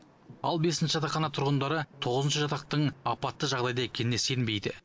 ал бесінші жатақхана тұрғындары тоғызыншы жатақтың апатты жағдайда екеніне сенбейді